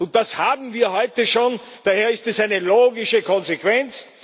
Und das haben wir heute schon, daher ist es eine logische Konsequenz.